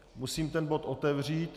Musím ten bod otevřít.